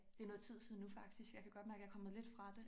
Det noget tid siden nu faktisk jeg kan godt mærke jeg er kommet lidt fra det